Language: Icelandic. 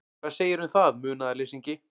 Hvað segirðu um það, munaðarleysingi?